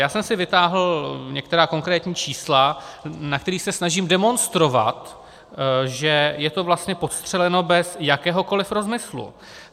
Já jsem si vytáhl některá konkrétní čísla, na kterých se snažím demonstrovat, že je to vlastně podstřeleno bez jakéhokoliv rozmyslu.